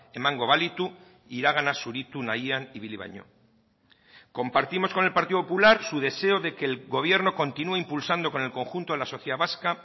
emango balitu iragana zuritu nahian ibili baino compartimos con el partido popular su deseo de que el gobierno continúe impulsando con el conjunto de la sociedad vasca